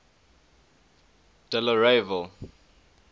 delareyville